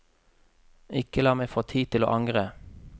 Ikke la meg få tid til å angre.